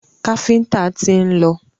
Káfíńńtà tí ń lọ.